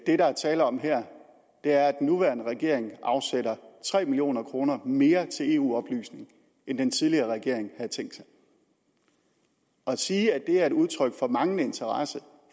det der er tale om her er at den nuværende regering afsætter tre million kroner mere til eu oplysning end den tidligere regering havde tænkt sig og at sige at det er et udtryk for manglende interesse